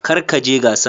Kar ka je gasan.